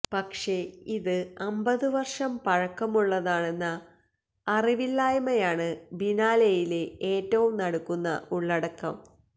പക്ഷേ ഇത് അമ്പത് വര്ഷം പഴക്കമുള്ളതാണെന്ന അറിവില്ലായ്മയാണ് ബിനാലെയിലെ ഏറ്റവും നടുക്കുന്ന ഉള്ളടക്കം